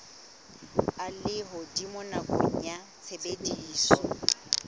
a lehodimo nakong ya tshebediso